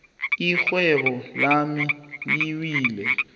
irhwebo lami liwile